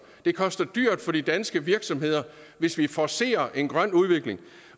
det koster dyrt for de danske virksomheder hvis vi forcerer en grøn udvikling